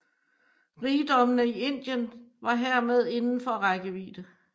Rigdommene i Indien var hermed indenfor rækkevidde